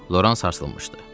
Loran sarsılmışdı.